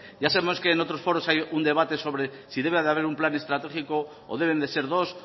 ya sabemos que en otros foros hay un debate sobre si debe de haber un plan estratégico o deben de ser dos